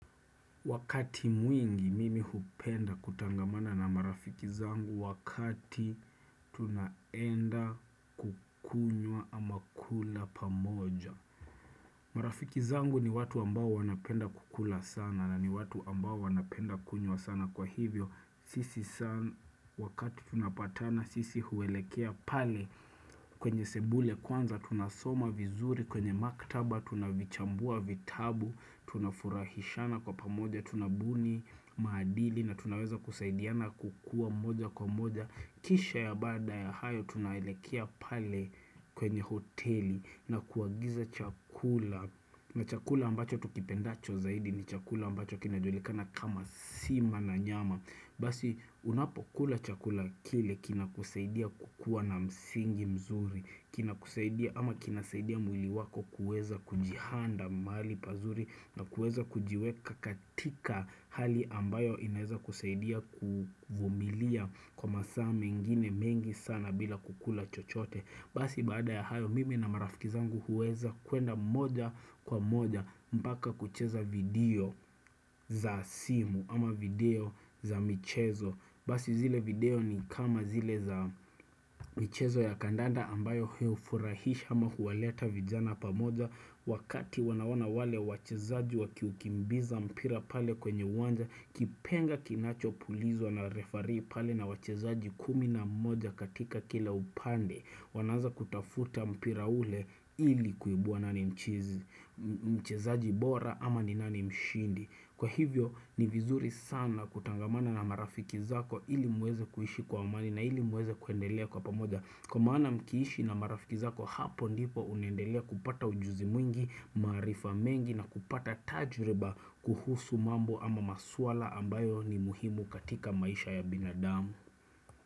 Wakati mwingi mimi hupenda kutangamana na marafiki zangu wakati tunaenda kukunyua ama kula pamoja. Marafiki zangu ni watu ambao wanapenda kukula sana na ni watu ambao wanapenda kukunyua sana kwa hivyo. Sisi sana wakati tunapatana sisi huwelekea pale kwenye sebule kwanza tunasoma vizuri kwenye maktaba tunavichambua vitabu. Tuna furahishana kwa pamoja Tuna buni maadili na tunaweza kusaidiana kukua moja kwa moja Kisha ya bada ya hayo Tunaelekea pale kwenye hoteli na kuagiza chakula na chakula ambacho tukipendacho zaidi ni chakula ambacho kinajulikana kama sima na nyama Basi unapo kula chakula kile kina kusaidia kukua na msingi mzuri kina kusaidia ama kina saidia mwili wako kueza kujihanda mali pazuri na kuweza kujiweka katika hali ambayo inaeza kusaidia kufumilia kwa masaa mengine mengi sana bila kukula chochote basi baada ya hayo mimi na marafikizangu huweza kuenda moja kwa moja mpaka kucheza video za simu ama video za michezo basi zile video ni kama zile za michezo ya kandanda ambayo huyofurahisha ama huwaleta vijana pamoja Wakati wanawana wale wachezaji wakiukimbiza mpira pale kwenye wanja Kipenga kinacho pulizwa na referee pale na wachezaji kumina moja katika kila upande Wanaza kutafuta mpira ule ili kuibua nani mchizi Mchezaji bora ama ni nani mshindi Kwa hivyo ni vizuri sana kutangamana na marafiki zako ili muweze kuishi kwa amani na ili muweze kuendelea kwa pamoja Kwa maana mkiishi na marafiki zako hapo ndipo unendelea kupata ujuzi mwingi marifa mengi na kupata tajiriba kuhusu mambo ama maswala ambayo ni muhimu katika maisha ya binadamu.